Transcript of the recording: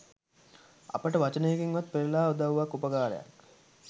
අපට වචනයකින්වත් පෙරලා උදව්වක් උපකාරයක්